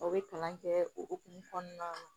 Aw bɛ kalan kɛ o hokumu kɔnɔna na